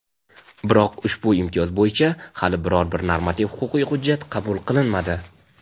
biroq ushbu imtiyoz bo‘yicha hali biror-bir normativ-huquqiy hujjat qabul qilinmadi.